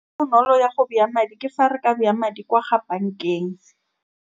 Bonolo jwa go bea madi, ke fa re ka bea madi Kwa Ga bank-eng.